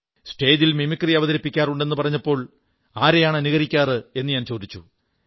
സ്റ്റേജിൽ മിമിക്രി അവതരിപ്പിക്കാറുണ്ട് എന്നു പറഞ്ഞപ്പോൾ ആരെയാണ് അനുകരിക്കാറ് എന്ന് ഞാൻ ചോദിച്ചു